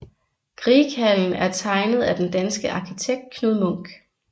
Grieghallen er tegnet af den danske arkitekt Knud Munk